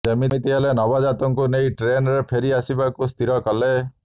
ଯେମିତି ହେଲେ ନବଜାତକକୁ ନେଇ ଟ୍ରେନରେ ଫେରି ଆସିବାକୁ ସ୍ଥିର କଲେ